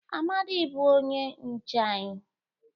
Amadi bu onye nche anyi.